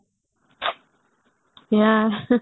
ଇୟା